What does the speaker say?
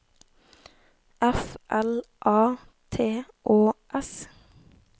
F L A T Å S